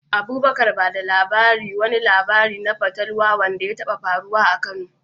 Abubakar, ba da labarin wani labari na fatalwa wanda ya taɓa faruwa a Kano.